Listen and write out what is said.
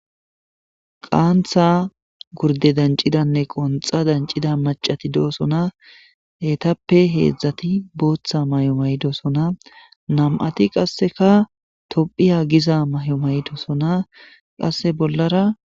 Qaantha gurde dancidanne qonxa dancida macati doosona heetappe heedzdzati booththa mayomaydosona nam7ati qasseka tophiya giza mayomaydosona qasse bollara.